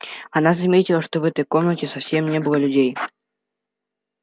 она заметила что в этой комнате совсем не было людей